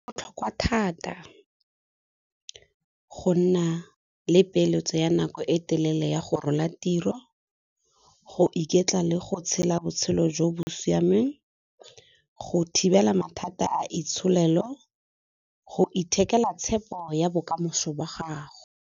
Go botlhokwa thata go nna le peeletso ya nako e telele ya go rola tiro, go iketla le go tshela botshelo jo bo siameng, go thibela mathata a itsholelo, go ithekela tshepo ya bokamoso ba gago.